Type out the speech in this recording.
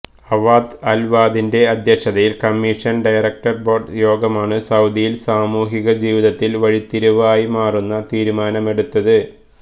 Awad അൽഅവാദിന്റെ അധ്യക്ഷതയിൽ commission director board യോഗമാണ് സൌദിയിൽ സാമൂഹിക ജീവിതത്തിൽ വഴിത്തിരിവായി മാറുന്ന തീരുമാനമെടുത്തത്